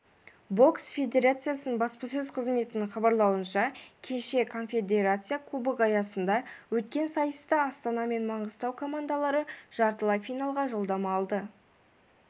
бокс федерациясының баспасөз қызметінің хабарлауынша кеше конфедерация кубогы аясында өткен сайыста астана мен маңғыстау командалары жартылай финалға жолдама алды